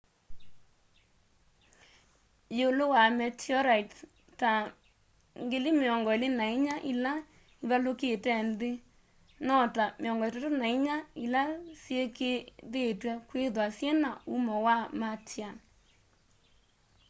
yiulu wa meteorites ta 24,000 ila ivalukite nthi no ta 34 ila syikiithitw'e kwithwa syina umo wa martian